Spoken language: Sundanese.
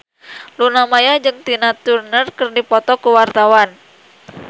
Luna Maya jeung Tina Turner keur dipoto ku wartawan